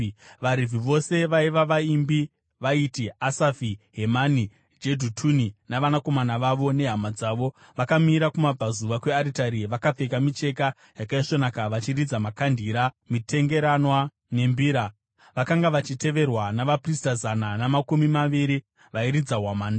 VaRevhi vose vaiva vaimbi vaiti Asafi, Hemani, Jedhutuni navanakomana vavo nehama dzavo, vakamira kumabvazuva kwearitari vakapfeka micheka yakaisvonaka vachiridza makandira, mitengeranwa nembira. Vakanga vachiteverwa navaprista zana namakumi maviri vairidza hwamanda.